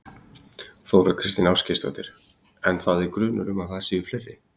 Þóra Kristín Ásgeirsdóttir: En það er grunur um að það séu fleiri?